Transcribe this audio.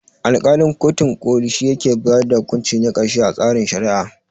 Alƙalin kotun ƙoli shi ke bayar da hukunci na ƙarshe a tsarin Shari'a.